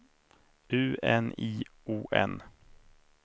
U N I O N